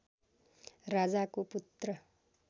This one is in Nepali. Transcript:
राजाको पुत्र